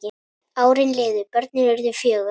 Árin liðu, börnin urðu fjögur.